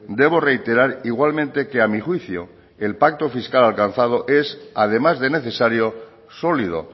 debo reiterar igualmente que a mí juicio el pacto fiscal alcanzado es además de necesario sólido